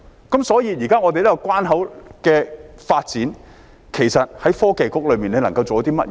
現時我們這個關口的發展，其實創新及科技局能夠做些甚麼呢？